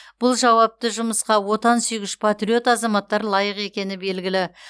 бұл жауапты жұмысқа отансүйгіш патриот азаматтар лайық екені белгілі